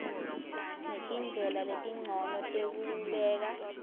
netindlela letincono tekubeka